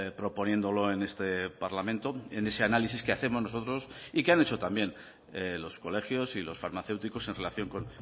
proponiéndolo en este parlamento en ese análisis que hacemos nosotros y que han hecho también los colegios y los farmacéuticos en relación con